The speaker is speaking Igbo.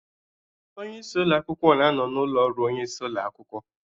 Onye isi ụlọ akwụkwọ na-anọ n'ụlọ ọrụ onye isi ụlo akwụkwọ